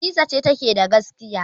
Hadiza ce take da gaskiya.